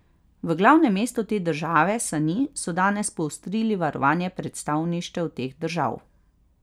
V glavnem mestu te države, Sani, so danes poostrili varovanje predstavništev teh držav.